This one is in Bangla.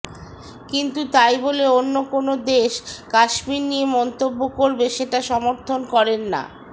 কিন্তু তাই বলে অন্য কোনো দেশ কাশ্মীর নিয়ে মন্তব্য করবে সেটা সমর্থন করেন না